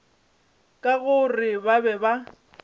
ka gore ba be ba